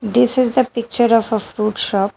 This is the picture of a fruit shop.